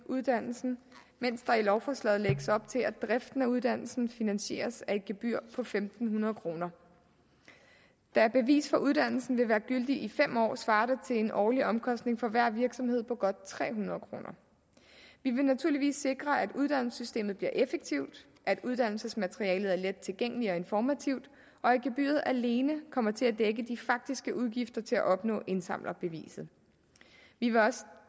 uddannelsen mens der i lovforslaget lægges op til at driften af uddannelsen finansieret af et gebyr på fem hundrede kroner da et bevis for uddannelsen vil være gyldigt i fem år svarer det til en årlig omkostning for hver virksomhed på godt tre hundrede kroner vi vil naturligvis sikre at uddannelsessystemet bliver effektivt at uddannelsesmaterialet er let tilgængeligt og informativt og at gebyret alene kommer til at dække de faktiske udgifter til at opnå indsamlerbeviset vi vil også